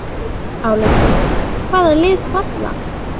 Álitið: Hvaða lið falla?